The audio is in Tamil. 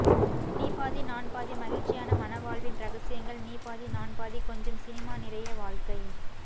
நீ பாதி நான் பாதி மகிழ்ச்சியான மணவாழ்வின் ரகசியங்கள் நீ பாதி நான் பாதி கொஞ்சம் சினிமா நிறைய வாழ்க்கை